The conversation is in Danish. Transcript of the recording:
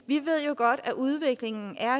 vi ved jo godt at udviklingen